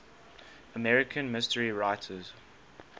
american mystery writers